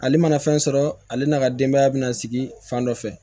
Ale mana fɛn sɔrɔ ale n'a ka denbaya bɛ na sigi fan dɔ fɛ